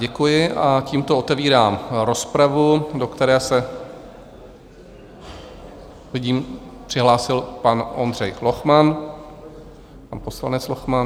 Děkuji a tímto otevírám rozpravu, do které se - vidím - přihlásil pan Ondřej Lochman, pan poslanec Lochman.